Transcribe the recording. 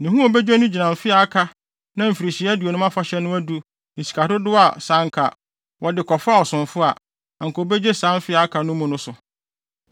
Ne ho a obegye no gyina mfe a aka na Mfirihyia Aduonum Afahyɛ no adu ne sika dodow a sɛ anka wɔde kɔfaa ɔsomfo a, anka obegye saa mfe a aka no mu no so.